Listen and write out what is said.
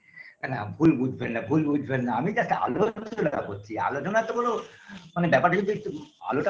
আ না ভুল বুঝবেন না ভুল বুঝবেন না আমি just আলোচনা করছি আলোচনা তো কোনো মানে ব্যাপারটা যদি একটু আলোটা